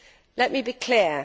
Let me be clear.